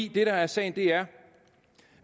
der er sagen er